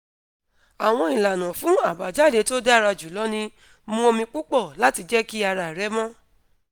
awọn ilana fun abajade to dara julọ ni: mú omi pupọ lati jẹ ki ara rẹ mọ